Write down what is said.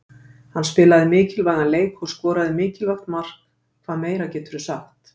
Hann spilaði mikilvægan leik og skoraði mikilvægt mark, hvað meira geturðu sagt?